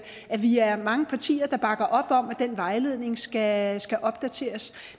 at vi er mange partier der bakker op om at den vejledning skal skal opdateres